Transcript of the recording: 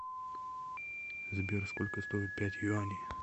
сбер сколько стоит пять юаней